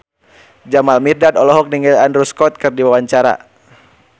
Jamal Mirdad olohok ningali Andrew Scott keur diwawancara